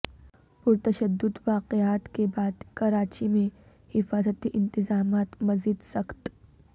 پرتشدد واقعات کے بعد کراچی میں حفاظتی انتظامات مزید سخت